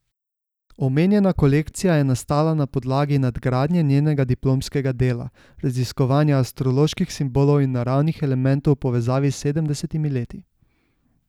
Omenjena kolekcija je nastala na podlagi nadgradnje njenega diplomskega dela, raziskovanja astroloških simbolov in naravnih elementov v povezavi s sedemdesetimi leti.